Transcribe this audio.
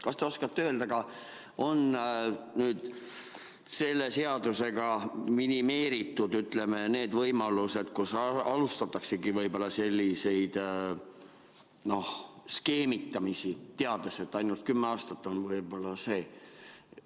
Kas te oskate öelda, kas nüüd selle seaduseelnõuga on minimeeritud need võimalused, et alustataksegi võib-olla sellist skeemitamist, teades, et ainult kümme aastat on see?